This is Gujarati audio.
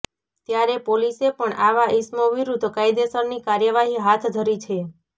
ત્યારે પોલીસે પણ આવા ઈસમો વિરુદ્ધ કાયદેસરની કાર્યવાહી હાથ ધરી છે